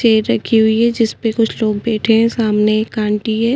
Chair रखी हुई है जिसपे कुछ लोग बैठे हैं सामने एक ऑन्टी है।